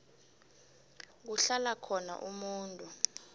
kuhlala khona umuntu